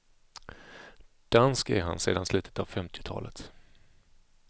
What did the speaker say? Dansk är han sedan slutet av femtiotalet.